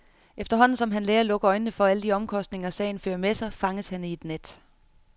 Efterhånden som han lærer at lukke øjnene for alle de omkostninger, sagen fører med sig, fanges han i et net.